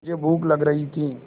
मुझे भूख लग रही थी